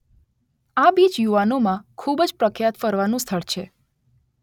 આ બીચ યુવાનો માં ખુબજ પ્રખ્યાત ફરવાનું સ્થળ છે.